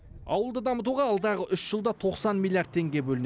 ауылды дамытуға алдағы үш жылда тоқсан миллиард теңге бөлінеді